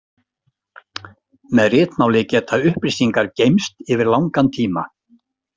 Með ritmáli geta upplýsingar geymst yfir langan tíma.